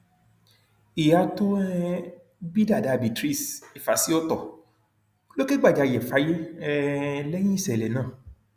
ìyá tó um bí dada beatrice ifásiotọ ló kẹgbajarè fáyé um lẹyìn ìṣẹlẹ náà